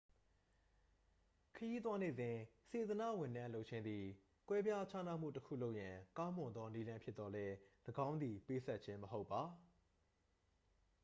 ခရီးသွားနေစဉ် စေတနာ့ဝန်ထမ်းလုပ်ခြင်းသည် ကွဲပြားခြားမှုတစ်ခုလုပ်ရန် ကောင်းမွန်သောနည်းလမ်းဖြစ်သော်လည်း ၎င်းသည် ပေးဆပ်ခြင်း မဟုတ်ပါ